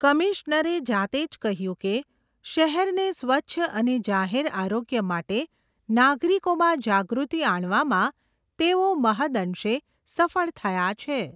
કમિશનરે જાતેજ કહ્યું કે, શહેરને સ્વચ્છ અને જાહેર આરોગ્ય માટે, નાગરિકોમાં જાગૃતિ આણવામાં તેઓ મહદઅંશે સફળ થયા છે.